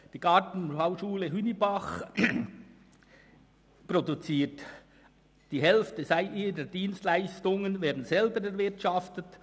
Die Gartenbauschule Hünibach erwirtschaftet die Hälfte ihrer Dienstleistungen selber.